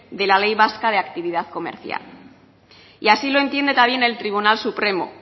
de la ley vasca de actividad comercial y así lo entiende también el tribunal supremo